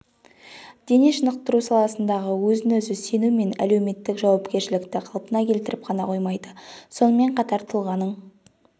дене шынықтыру саласындағы өзін-өзі сену мен әлеуметтік жауапкершілікті қалпына келтіріп қана қоймайды сонымен қатар тұлғаның